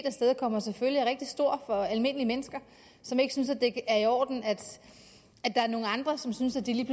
afstedkommer selvfølgelig er rigtig stor for almindelige mennesker som ikke synes at det er i orden at der er nogle andre som synes at det lige